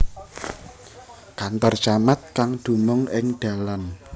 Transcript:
Kantor Camat kang dumung ing Dalan